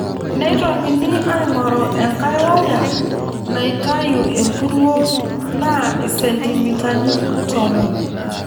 Neitokini aing'oru enkae waya naitayu empuruo naa isentimitani tomon.